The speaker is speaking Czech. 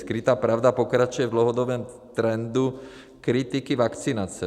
Skrytá pravda pokračuje v dlouhodobém trendu kritiky vakcinace.